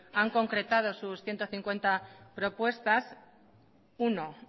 han concretado sus ciento cincuenta propuestas uno